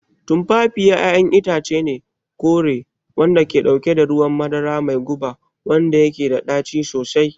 Tumfafiya ƴaƴan itace ne kore wanda ke dauke da ruwan madara mai guba wanda yake da ɗaci sosai.